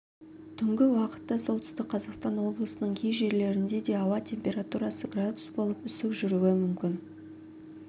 түнгі уақытта солтүстік қазақстан облысының кей жерлерінде де ауа температурасы градус болып үсік жүруі мүмкін